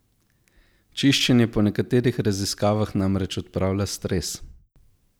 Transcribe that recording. Čiščenje po nekaterih raziskavah namreč odpravlja stres!